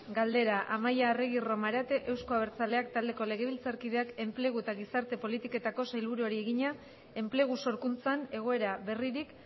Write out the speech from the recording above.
galdera amaia arregi romarate euzko abertzaleak taldeko legebiltzarkideak enplegu eta gizarte politiketako sailburuari egina enplegu sorkuntzan egoera berririk